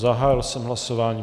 Zahájil jsem hlasování.